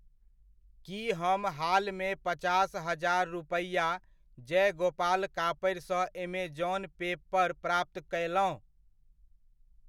की हम हालमे पचास हजार रुपैआ जयगोपाल कपड़िसँ ऐमेजॉन पे पर प्राप्त कयलहुॅं?